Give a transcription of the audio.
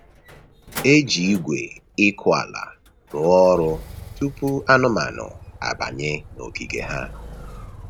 E ji igwe ịkụ ala rụọ ọrụ tupu anụmanụ abanye n’ogige ha.